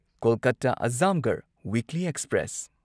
ꯀꯣꯜꯀꯇꯥ ꯑꯓꯝꯒꯔꯍ weekly express